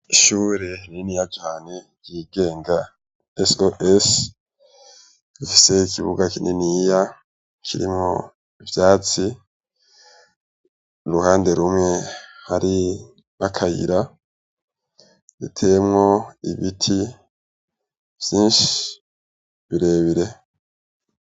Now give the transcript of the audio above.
Ishure niniya cane ry'igenga soes hafiseyo ikibuga kininiya kiri mu vyatsi uruhande rumwe hari makayira bitemwo ibiti vyinshi biree bie.